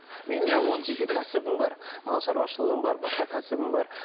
кәсібім бар мал шаруашылығым бар басқа кәсібім бар